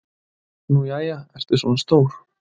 """Nú jæja, ertu svona stór."""